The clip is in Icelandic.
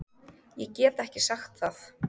Ég get ekki sagt það